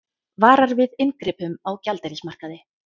Varar við inngripum á gjaldeyrismarkaði